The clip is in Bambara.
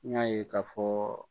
N y'a ye k'a fɔɔ